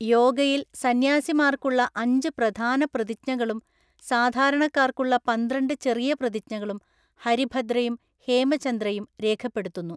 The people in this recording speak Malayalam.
യോഗയിൽ സന്യാസിമാർക്കുള്ള അഞ്ച് പ്രധാന പ്രതിജ്ഞകളും സാധാരണക്കാർക്കുള്ള പന്ത്രണ്ടു ചെറിയ പ്രതിജ്ഞകളും ഹരിഭദ്രയും ഹേമചന്ദ്രയും രേഖപ്പെടുത്തുന്നു.